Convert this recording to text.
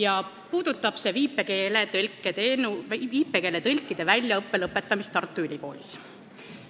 Arupärimine puudutab viipekeele tõlkide väljaõppe lõpetamist Tartu Ülikoolis.